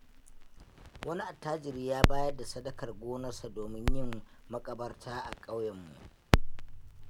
Wani attajiri ya bayar da sadakar gonarsa domin yin maƙabarta a ƙauyenmu.